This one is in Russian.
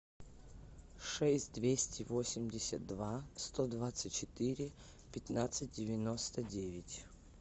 шесть двести восемьдесят два сто двадцать четыре пятнадцать девяносто девять